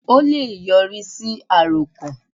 Ó le è yọrí sí àròkàn